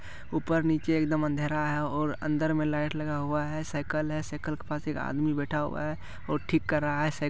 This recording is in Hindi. उपर नीचे एकदम अधेरा है और अन्दर में लाइट लगा हुआ है साइकिल है साइकिल के पास एक आदमी बैठा हुआ है और ठीक कर रहा है साइकिल --